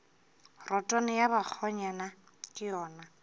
rotwane ya bakgonyana ke yona